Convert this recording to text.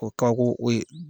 O ye kabako o ye.